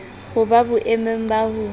ho ba boemong ba ho